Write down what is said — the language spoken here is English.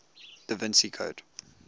da vinci code